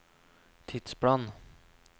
tidsplan